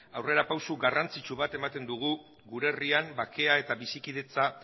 aurrera pausu garrantzitsu bat ematen dugu gure herrian bakea eta bizikidetza